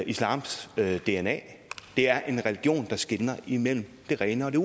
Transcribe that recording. islams dna det er en religion der skelner imellem det rene og det